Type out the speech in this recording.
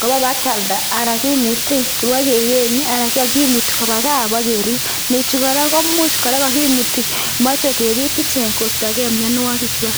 kobaa bakialda anan kimuti bokeyenye anan kimuti kobaa kaa bokerib, nechu kora komuch kora kokimuti moche kebit ichek kostokee mionwokikwak.